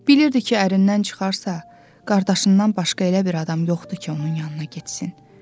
Bilirdi ki, ərindən çıxarsa, qardaşından başqa elə bir adam yoxdur ki, onun yanına getsin.